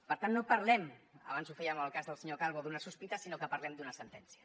per tant no parlem abans ho fèiem en el cas del senyor calvo d’una sospita sinó que parlem d’una sentència